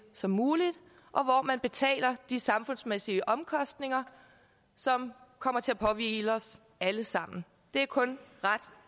som muligt og hvor man betaler de samfundsmæssige omkostninger som kommer til at påhvile os alle sammen det er kun ret